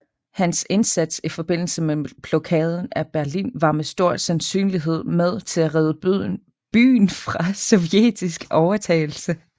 Hans indsats i forbindelse med Blokaden af Berlin var med stor sandsynlighed med til at redde byen fra sovjetisk overtagelse